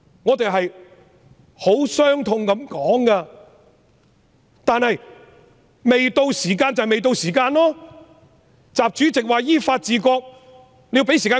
我十分傷痛地說這些話，但時候未到，便是時候未到，習主席說依法治國，但要給他時間執行。